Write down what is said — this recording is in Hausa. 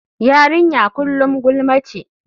Yarinya kullum gulma ce.